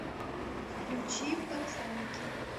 включи пацанки